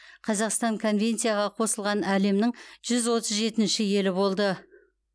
қазақстан конвенцияға қосылған әлемнің жүз отыз жетінші елі болды